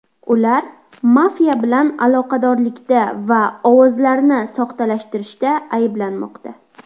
Ular mafiya bilan aloqadorlikda va ovozlarni soxtalashtirishda ayblanmoqda.